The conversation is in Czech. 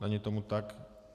Není tomu tak.